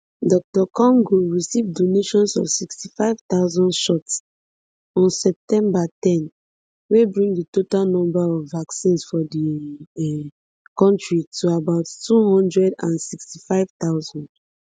dr congo receive donations of sixty-five thousand shots on september ten wey bring di total number of vaccines for di um kontri to about two hundred and sixty-five thousand